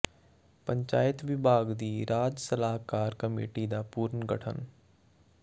ਪੰਚਾਇਤ ਵਿਭਾਗ ਦੀ ਰਾਜ ਸਲਾਹਕਾਰ ਕਮੇਟੀ ਦਾ ਪੁਨਰ ਗਠਨ